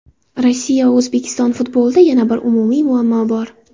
Rossiya va O‘zbekiston futbolida yana bir umumiy muammo bor.